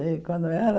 E quando era...